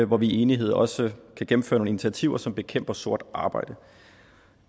hvor vi i enighed også kan gennemføre nogle initiativer som bekæmper sort arbejde